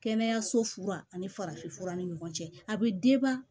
Kɛnɛyaso fura ani farafinfura ni ɲɔgɔn cɛ a bɛ